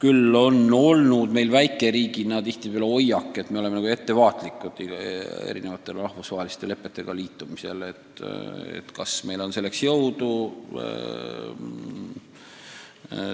Meil on aga väikeriigina tihtipeale olnud hoiak, et me oleme rahvusvaheliste lepetega ühinemisel ettevaatlikud olnud – oleme kahelnud, kas meil on selleks jõudu.